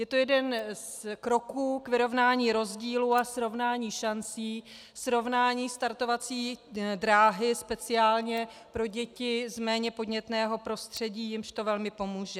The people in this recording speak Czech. Je to jeden z kroků k vyrovnání rozdílů a srovnání šancí, srovnání startovací dráhy speciálně pro děti z méně podnětného prostředí, jimž to velmi pomůže.